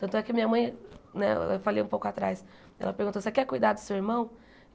Tanto é que a minha mãe, né, eu falei um pouco atrás, ela perguntou, você quer cuidar do seu irmão?